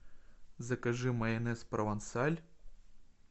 закажи майонез провансаль